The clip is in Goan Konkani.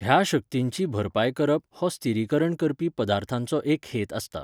ह्या शक्तींची भरपाय करप हो स्थिरीकरण करपी पदार्थांचो एक हेत आसता.